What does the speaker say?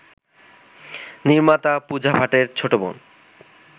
নির্মাতা পূজা ভাটের ছোটবোন